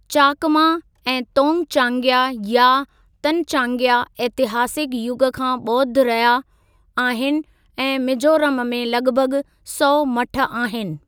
चाकमा ऐं तोंगचांग्या या तनचांग्या इतिहासिक युग खां ॿौद्ध रहिया आहिनि ऐं मिजोरम में लॻभॻ सौ मठ आहिनि।